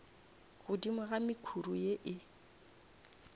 godimo ga mekhuri ye e